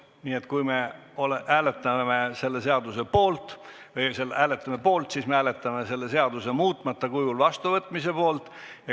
Nii et kui me hääletame selle seaduse poolt, siis me hääletame selle seaduse muutmata kujul vastuvõtmise poolt.